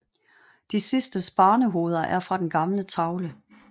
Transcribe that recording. De sidstes barnehoveder er fra den gamle tavle